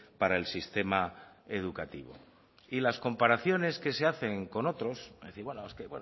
para el sistema educativo y las comparaciones que se hacen con otros es decir es bueno es que